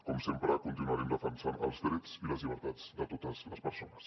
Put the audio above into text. com sempre continuarem defensant els drets i les llibertats de totes les persones